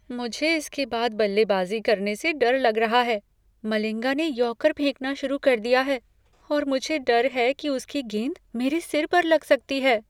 मुझे इसके बाद बल्लेबाजी करने से डर लग रहा है। मलिंगा ने यॉर्कर फेंकना शुरू कर दिया है और मुझे डर है कि उसकी गेंद मेरे सिर पर लग सकती है।